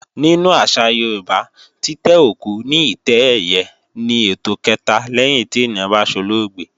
Nínú àṣà Yorùbá, títẹ́ òkú ní ìtẹ́ ẹ̀yẹ ni ètò kẹ̀ta lẹ́yìn tí ènìyàn bá solóògbé